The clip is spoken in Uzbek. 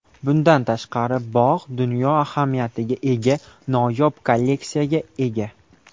Bundan tashqari, bog‘ dunyo ahamiyatiga ega noyob kolleksiyaga ega.